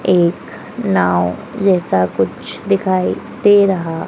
एक नाव जैसा कुछ दिखाई दे रहा--